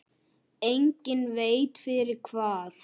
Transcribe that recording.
Enginn veit fyrir hvað.